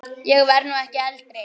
Ég verð nú ekki eldri!